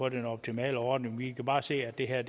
en optimal ordning vi kan bare se at det her